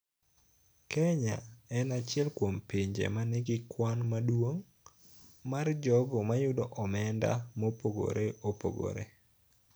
Kenya en achiel kuom pinje ma nigi kwan maduong� mar jogo ma yudo omenda mopogore opogore.